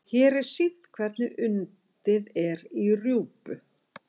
hér er sýnt hvernig undið er í rjúpu